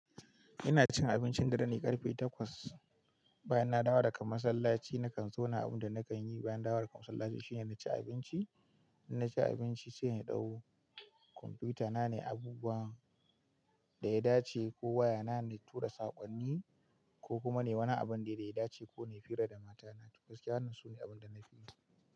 Ina cin abincin dare ne ƙarfe takwas. Bayan na dawo daga masallaci, na kan so na abin da na kan yi bayan dawo daga masallaci shine na ci abinci. In na ci abinci sai in ɗau kwamfuta na nayi abubuwa da ya dace ko wayana na tura saƙonni ko kuma nayi wani abun da ya dace ko na yi hira da mata na. Gaskiya wannan su ne abun da na fi yi.